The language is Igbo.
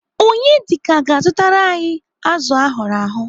Onyedika ga-azụtara anyị azụ ahụrụ ahụ.